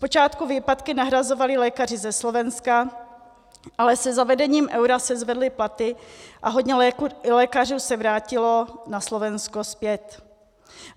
Zpočátku výpadky nahrazovali lékaři ze Slovenska, ale se zavedením eura se zvedly platy a hodně lékařů se vrátilo na Slovensko zpět.